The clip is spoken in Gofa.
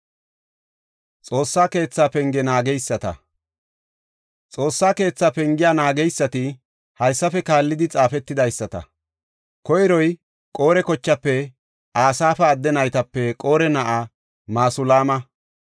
Xoossaa keetha pengiya naageysati haysafe kaallidi xaafetidaysata. Koyroy Qore kochaafe Asaafa adde naytape Qore na7a Masulaama.